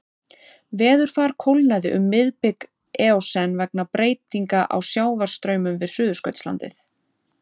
Veðurfar kólnaði um miðbik eósen vegna breytinga á sjávarstraumum við Suðurskautslandið.